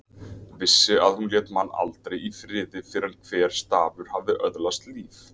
Vissi að hún lét mann aldrei í friði fyrr en hver stafur hafði öðlast líf.